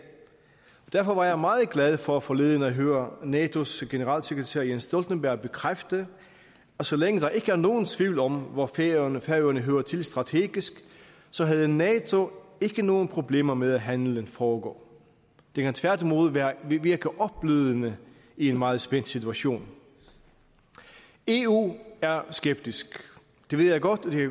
derfor var jeg meget glad for forleden at høre natos generalsekretær jens stoltenberg bekræfte at så længe der ikke er nogen tvivl om hvor færøerne færøerne hører til strategisk så havde nato ikke nogen problemer med at handelen foregår det kan tværtimod virke opblødende i en meget spændt situation eu er skeptisk det ved jeg godt og det